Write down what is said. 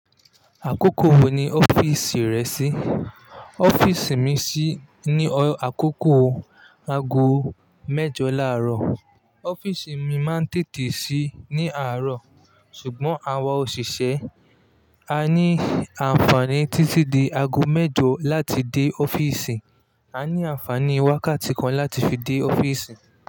Àkókò wo ni ọ́fíìsì rẹ ṣí? Ọ́fíìsì mi ṣí ní àkókò aago mẹ́jọ láàárọ̀. Ọ́fíìsì mi máa ń tètè ṣí ní àárọ̀, ṣùgbọ́n àwa òṣìṣẹ́ a ní àǹfààní títí di aago mẹ́jọ láti dé ọ́fíìsì. A ní àǹfààní wákàtí kan láti fi dé ọ́fíìsì.